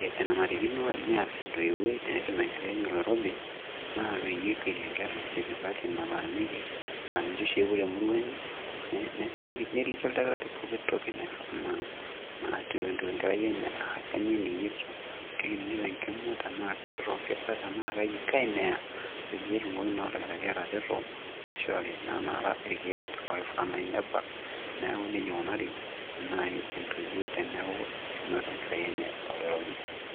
enanarikino nias entoiwuoi tenetum enkerai enye oloirobi naa peyie ekuetie enkerai sipitali nataaniki aa ninche oshi epuo te murua enye naa neliki oldakitari poki natiu enkerai enye aa kanyio eninng'ito kening'ito enkima tenaa kirrokita tenaa kaji neya peyie etumoki naa oldakitari atareto nishori naa naara irkeek oifaa naaji nebak neeku nejia ikunari naaji entoiwuoi teneeku enoto enkerai enye oloirobi.